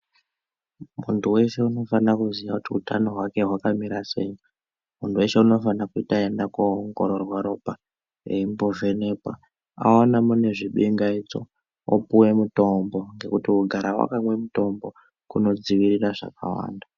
Muntu weshe unofanira kuziya kuti utano hwake kwakamira sei. Muntu weshe unofana kuti aende koongororwa ropa, eimbovhenekwa. Aona mune zvingaidzo, opuwe mitombo, ngekuti kugara wakamwe mutombo, kunodziirira zvakawanda.